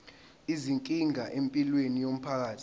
izinkinga empilweni yomphakathi